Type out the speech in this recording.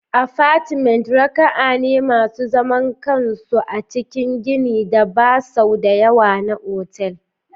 Apartments raka'a ne masu zaman kansu a cikin ginin da ba sau da yawa na otal.